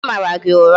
Onye mara gị ụra?